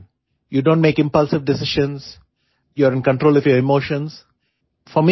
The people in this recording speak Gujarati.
you don't make impulsive decisions you are in control of your emotions